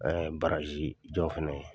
jɔn fana ye.